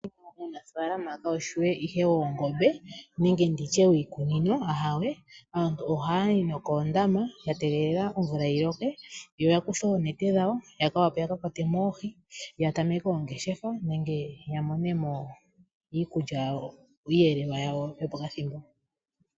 Uunafaalama kawushi ashike woongombe nenge wiikunino, ahawe aantu ohayayi nokoondama ya tegelela omvula yi loke ,yo yakuthe oonete dhawo ya wape ya kakwatwemo oohi ya tameke oongeshefa nenge ya monemo iiyelelwa yawo yopokathimbo.